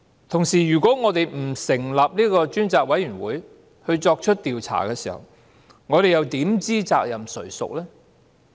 同時，如果我們不成立專責委員會進行調查，我們又怎知責任誰屬呢？